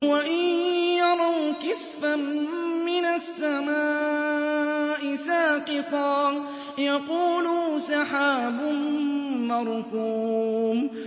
وَإِن يَرَوْا كِسْفًا مِّنَ السَّمَاءِ سَاقِطًا يَقُولُوا سَحَابٌ مَّرْكُومٌ